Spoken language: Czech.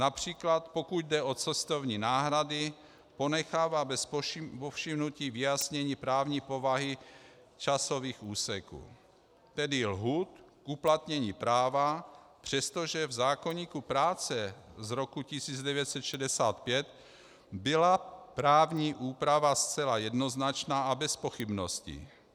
Například pokud jde o cestovní náhrady, ponechává bez povšimnutí vyjasnění právní povahy časových úseků, tedy lhůt k uplatnění práva, přestože v zákoníku práce z roku 1965 byla právní úprava zcela jednoznačná a bez pochybností.